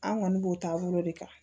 An kɔni b'o taabolo de kan